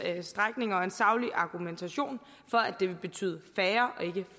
strækninger og en saglig argumentation for at det vil betyde færre og ikke